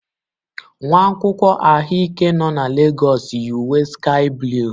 Nwa akwụkwọ ahụike nọ na Legọs yi uwe sky blue.